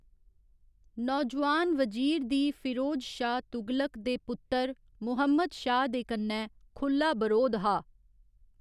नौजुआन वजीर दी फिरोज शाह तुगलक दे पुत्तर मुहम्मद शाह दे कन्नै खु'ल्ला बरोध हा।